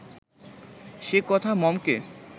সে কথা মমকে